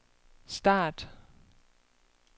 start